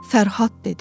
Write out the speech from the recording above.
Fərhad dedi.